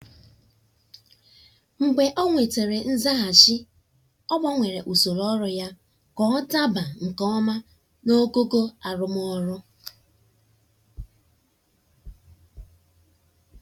mgbe o nwetara nzaghachi ọ gbanwere usoro ọrụ ya ka ọ daba nke ọma naogogo arụmọrụ.